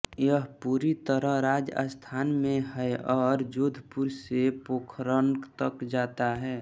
यह पूरी तरह राजस्थान में है और जोधपुर से पोखरन तक जाता है